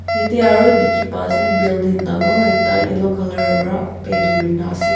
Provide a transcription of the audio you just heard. yati aru teki pa ase building tangur ekta yellow colour para paint kurikina ase.